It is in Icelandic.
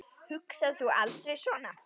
Hugsar þú aldrei svona?